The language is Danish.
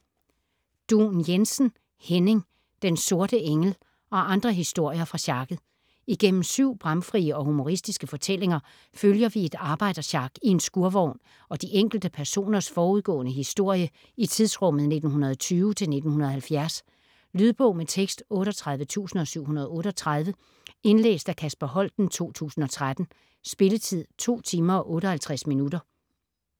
Duun Jensen, Henning: Den sorte engel - og andre historier fra sjakket Igennem syv bramfrie og humoristiske fortællinger følger vi et arbejdersjak i en skurvogn og de enkelte personers forudgående historie i tidsrummet 1920-1970. Lydbog med tekst 38738 Indlæst af Kasper Holten, 2013. Spilletid: 2 timer, 58 minutter.